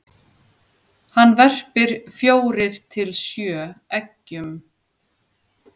hann verpir fjórir til sjö eggjum